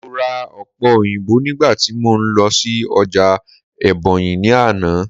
mo ra òpe oyinbo nigba ti mo n lọ sí ọjà ebonyi ni Ana